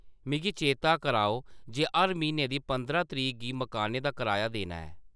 मिगी चेत्ता कराओ जे हर म्हीने दी पंदरां तरीक गी मकानै दा कराया देना ऐ।